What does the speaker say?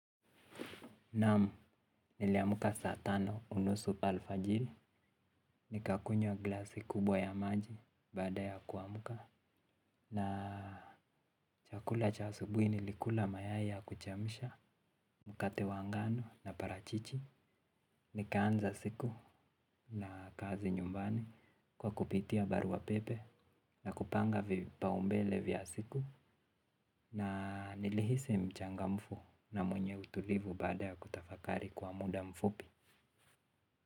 Nam niliamka saa tano unusu alfajiri. Nikakunywa glasi kubwa ya maji baada ya kuamka. Na chakula cha asubuhi nilikula mayai ya kuchemsha mkate wa ngano na parachichi. Nikaanza siku na kazi nyumbani kwa kupitia barua pepe na kupanga vipaumbele vya siku. Na nilihisi mchangamfu na mwenye utulivu baada ya kutafakari kwa muda mfupi.